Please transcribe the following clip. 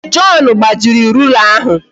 John gbajiri rula ahụ